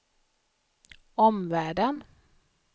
omvärlden